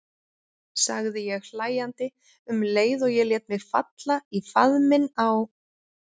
sagði ég hlæjandi um leið og ég lét mig falla í faðminn á